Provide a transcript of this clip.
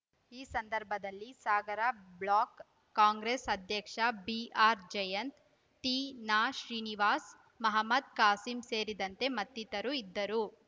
ಈ ಸಂದರ್ಭದಲ್ಲಿ Sagar block Congress ಅಧ್ಯಕ್ಷ ಬಿಆರ್‌ಜಯಂತ್‌ ತೀನಾಶ್ರೀನಿವಾಸ್‌ ಮಹ್ಮದ್‌ ಖಾಸಿಂ ಸೇರಿದಂತೆ ಮತ್ತಿತರರು ಇದ್ದರು